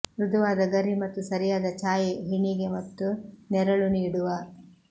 ಮೃದುವಾದ ಗರಿ ಮತ್ತು ಸರಿಯಾದ ಛಾಯೆ ಹೆಣಿಗೆ ಮತ್ತು ನೆರಳು ನೀಡುವ